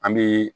An bɛ